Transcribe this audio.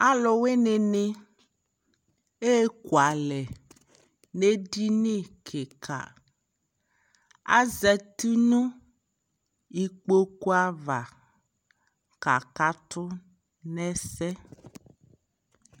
Alu wini ni ɛkualɛ nɛ dini kikaAzati nu ikpoku ava kaka tu nɛ sɛ